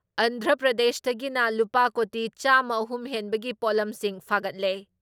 ꯑꯟꯙ꯭ꯔ ꯄ꯭ꯔꯗꯦꯁꯇꯒꯤꯅ ꯂꯨꯄꯥ ꯀꯣꯇꯤ ꯆꯥꯃ ꯑꯍꯨꯝ ꯍꯦꯟꯕꯒꯤ ꯄꯣꯠꯂꯝꯁꯤꯡ ꯐꯥꯒꯠꯂꯦ ꯫